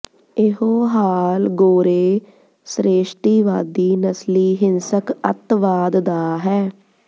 ਇਹੋ ਹਾਲ ਗੋਰੇ ਸ੍ਰੇਸ਼ਟਵਾਦੀ ਨਸਲੀ ਹਿੰਸਕ ਅੱਤਵਾਦ ਦਾ ਹੈ